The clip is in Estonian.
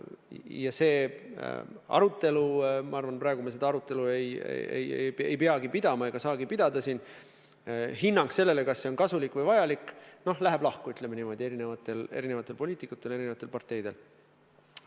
Ja see hinnang – ma arvan, et praegu me seda arutelu ei pea pidama ega saagi pidada –, hinnang sellele, kas see projekt on kasulik või vajalik, läheb eri poliitikutel, eri parteidel lahku.